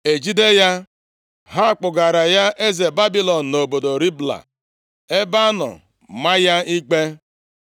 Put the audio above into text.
e jide ya. Ha kpụgara ya eze Babilọn, nʼobodo Ribla, ebe a nọ maa ya ikpe.